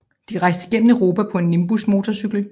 De rejste gennem Europa på en Nimbus motorcykel